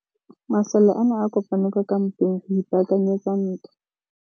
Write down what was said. Masole a ne a kopane kwa kampeng go ipaakanyetsa ntwa.